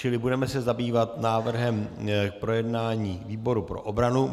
Čili budeme se zabývat návrhem na projednání výboru pro obranu.